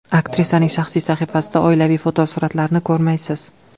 Aktrisaning shaxsiy sahifasida oilaviy fotosuratlarni ko‘rmaysiz.